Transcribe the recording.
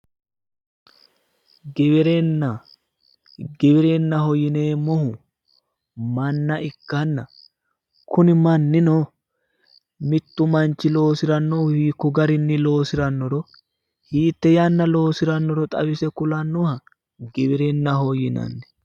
Giwirinna, giwirinnaho yineemmohu manna ikkanna kuni mannino mittu manchi loosirannohu hikku garinni loosirannoro hiitte yanna loosirannoro xawise kulannoha giwirinnaho yinanni